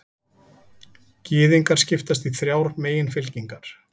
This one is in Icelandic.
Gyðingar skipast í þrjár meginfylkingar.